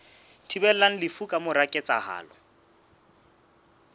thibelang lefu ka mora ketsahalo